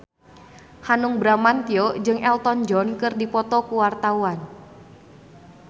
Hanung Bramantyo jeung Elton John keur dipoto ku wartawan